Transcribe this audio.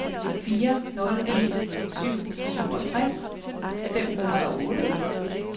fire nul en syv syvogtres fem hundrede og otte